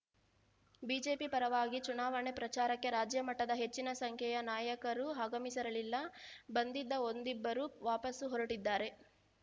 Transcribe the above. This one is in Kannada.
ಬಿಜೆಪಿ ಪರವಾಗಿ ಚುನಾವಣೆ ಪ್ರಚಾರಕ್ಕೆ ರಾಜ್ಯಮಟ್ಟದ ಹೆಚ್ಚಿನ ಸಂಖ್ಯೆಯ ನಾಯಕರು ಆಗಮಿಸಿರಲಿಲ್ಲ ಬಂದಿದ್ದ ಒಂದಿಬ್ಬರು ವಾಪಸ್ಸು ಹೊರಟಿದ್ದಾರೆ